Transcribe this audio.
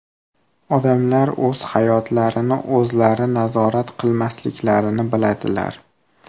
Odamlar o‘z hayotlarini o‘zlari nazorat qilmasliklarini biladilar.